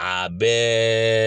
A bɛ